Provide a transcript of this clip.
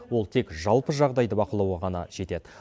ол тек жалпы жағдайды бақылауға ғана жетеді